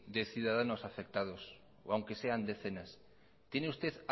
de ciudadanos afectados aunque sean decenas tiene usted